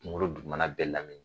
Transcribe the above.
Kungolo duguma na bɛɛ lamini.